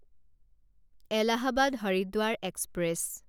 Allahabad Haridwar express